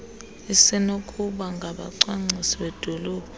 isenokuba ngabacwangcisi bedolophu